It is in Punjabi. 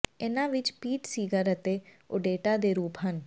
ਇਨ੍ਹਾਂ ਵਿਚ ਪੀਟ ਸੀਗਰ ਅਤੇ ਓਡੇਟਾ ਦੇ ਰੂਪ ਹਨ